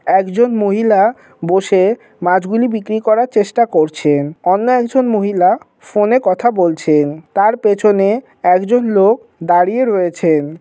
একজন মহিলা বসে মাছগুলি বিক্রি করার চেষ্টা করছেন অন্য একজন মহিলা ফোনে কথা বলছেন তার পেছনে একজন লোক দাঁড়িয়ে রয়েছেন ।